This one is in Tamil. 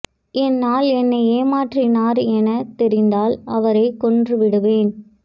என் ஆள் என்னை ஏமாற்றினார் என தெரிந்தால் அவரை கொன்றுவிடுவேன்